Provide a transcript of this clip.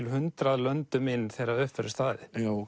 hundrað löndum inn þegar upp verður staðið